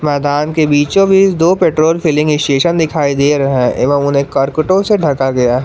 के बीचों बीच दो पैट्रोल फिलिंग स्टेशन दिखाई दे रहा है एवं उन्हें करकटो से ढका गया है।